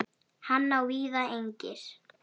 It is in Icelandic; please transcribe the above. Hann á víða eignir.